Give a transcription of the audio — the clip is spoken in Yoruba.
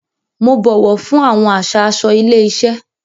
Mo bọwọ fún awọn àṣà aṣọ ilé iṣẹ.